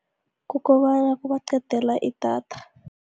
Kukobana kubaqedela idatha.